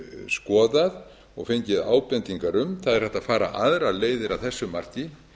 skoðað og fengið ábendingar um það er hægt að fara aðrar leiðir að þessu marki